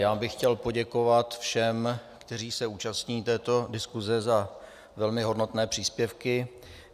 Já bych chtěl poděkovat všem, kteří se účastní této diskuze, za velmi hodnotné příspěvky.